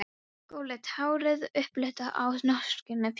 Skolleitt hárið upplitað af norskri fjallasól.